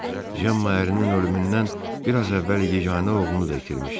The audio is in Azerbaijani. Cemmanın ərinin ölümündən biraz əvvəl yeganə oğlunu da itirmişdi.